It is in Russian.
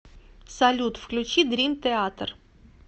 салют включи дрим театер